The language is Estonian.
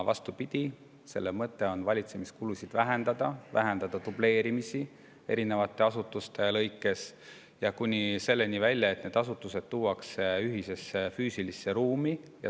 Vastupidi, mõte on valitsemiskulusid vähendada, vähendada dubleerimist erinevate asutuste lõikes kuni selleni välja, et need asutused tuuakse ühisesse füüsilisse ruumi.